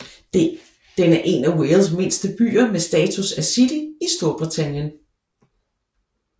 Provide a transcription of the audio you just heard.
Den er en af Wales mindste byer med status af city i Storbritannien